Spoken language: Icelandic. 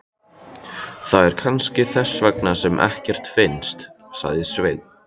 Það er kannski þess vegna sem ekkert finnst, sagði Svenni.